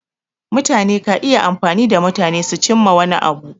Mutane ka iya amfani da mutane su cimma wani abu.